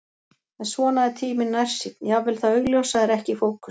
En svona er tíminn nærsýnn, jafnvel það augljósa er ekki í fókus.